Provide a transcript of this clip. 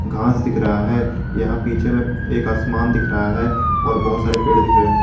घास दिख रहा है यहां पीछे में एक आसमान दिख रहा है और बहुत सारे पेड़ दिख रहे हैं।